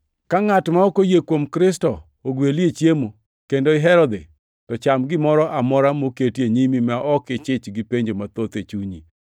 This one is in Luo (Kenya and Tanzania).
Ka ngʼat ma ok oyie kuom Kristo ogweli e chiemo, kendo ihero dhi, to cham gimoro amora moketi e nyimi ma ok ichich gi penjo mathoth e chunyi.